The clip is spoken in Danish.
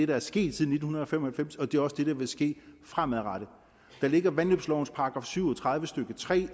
der er sket siden nitten fem og halvfems og det er også det der vil ske fremadrettet og i vandløbslovens § syv og tredive stykke tre